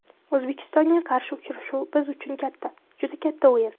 O‘zbekistonga qarshi uchrashuv biz uchun katta, juda katta o‘yin.